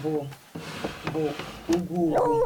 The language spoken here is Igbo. bụ̀ bụ̀ ùgwù̄ ùgwù̄.